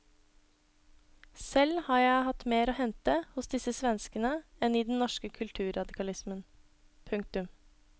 Selv har jeg hatt mer å hente hos disse svenskene enn i den norske kulturradikalismen. punktum